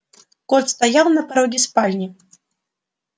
кот стоял на пороге спальни